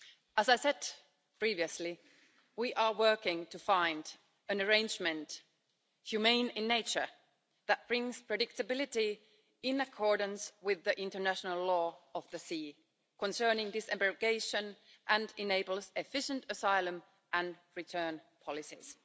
As I said previously, we are working to find an arrangement, humane in nature, that brings predictability in accordance with the International Law of the Sea, concerning disembarkation and enables efficient asylum and return policies.